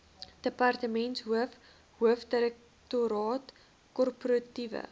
departementshoof hoofdirektoraat korporatiewe